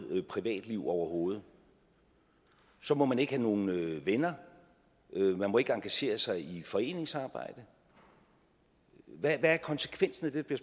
privatliv overhovedet så må man ikke have nogen venner og man må ikke engagere sig i foreningsarbejde hvad er konsekvensen af det der